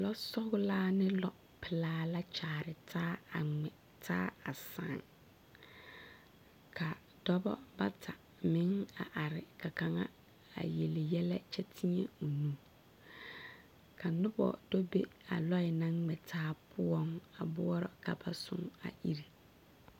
Lɔsɔglaa ne lɔpelaa la a kyaare taa a ŋmɛ taa a soriŋ ka dɔbɔ bata meŋ a are ka kaŋa yele yɛlɛ kyɛ teɛ o nu ka noba do be a lɔɛ naŋ ŋmɛ taa poɔ a boɔrɔ ka ba soŋ a ire.